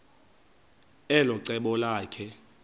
elo cebo lakhe